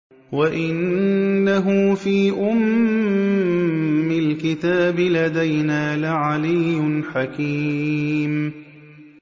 وَإِنَّهُ فِي أُمِّ الْكِتَابِ لَدَيْنَا لَعَلِيٌّ حَكِيمٌ